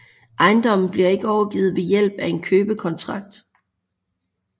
Ejendommen bliver ikke overgivet ved hjælp af en købekontrakt